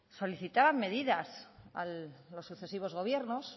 solicitaban medidas a los sucesivos gobiernos